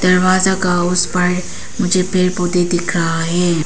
दरवाजा का उस पार मुझे पेड़ पौधे दिख रहा है।